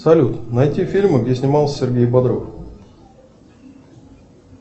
салют найти фильмы где снимался сергей бодров